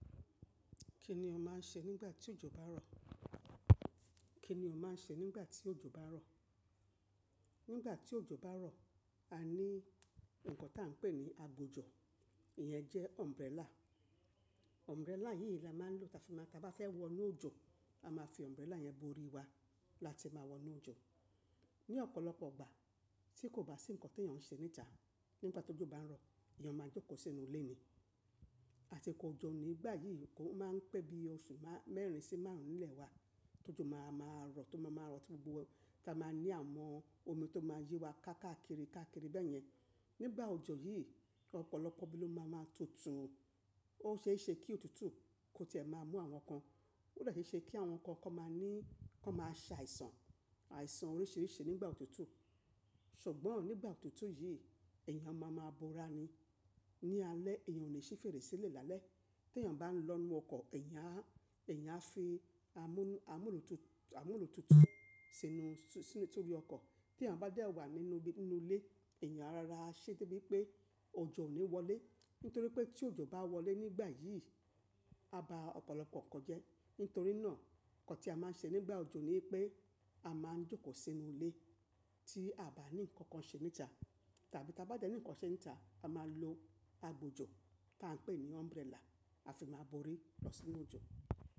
Kí ni ò ń máa ń ṣe nígbà tí òjò bá ń rọ̀? Kí ni ò ń máa ń ṣe nígbà tí òjò bá ń rọ̀? Nígbà tí òjò bá ń rọ̀, a ní ǹkan tí à ń pè ní agbojò, ìyẹn jẹ́ umbrella. Umbrella yì la máa ń lò tafima ta bá fẹ́ wọ inú òjò, a máa fi umbrella yẹn borí wa láti máa wọ inú òjò. Ni ọ̀pọ̀lọpọ̀ igbà tí kò bá sí ǹkan tí èèyàn ń ṣe níta, nígbà tó jọ bá ń rọ̀, èèyàn máa jókòó sínú ilé ni. Àsiko òjò nígbà yí, nǹkan ó máa ń pẹ́ bí oṣù mẹ́rin sì márùn-ún lẹ́wá tó jọ máa máa rọ̀, tó máa máa rọ̀ tí gbogbo wa ta máa ní àwọn omi tó máa yí wa káákiri káákiri bẹ́yẹn. Nígbà òjò yí, ọ̀pọ̀lọpọ̀ ibi ló máa maa ń tutù. Ó ṣeéṣe kí òtútù kó ti ẹ̀ máa mú àwọn kan. Ó de ṣeéṣe kí àwọn kan kọ́ máa ní, kó máa ṣàìsàn, àìsàn oríṣiríṣi nígbà òtútù. Ṣùgbọ́n nígbà òtútù yì, èyàn máa máa bora ni. Ni alẹ́, èyàn ò lè ṣí fèrèsé lé lálẹ́. Tí èyàn bá ń lọ inú ọkọ̀, èyàn á, èyàn á fi amúnù, amúnù òtútù sínú, sínú torí ọkọ̀. Tí èyàn bá dé wà nínú ilé, èyàn ara ṣe dé bí pé òjò ò ní wọlé. Nítorí pé tí òjò bá wọlé nígbà yí, a bá ọ̀pọ̀lọpọ̀ kan jẹ́. Nítorí náà, ǹkan tí a máa ń ṣe nígbà òjò ni pé a máa ń jókòó sínú ilé tí a bá ní ǹkan kan ṣe níta. Tàbí tí a bá jẹ́ ní nǹkan ṣe níta, a máa lo agbojò tí à ń pè ní umbrella, a fi máa borí lọ sínú òjò.